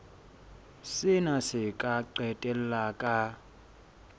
sena se ka qetella ka